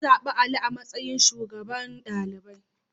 An zaɓi Ali a matsayin shugaban ɗalibai.